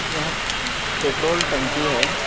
यहां पेट्रोल टंकी है ।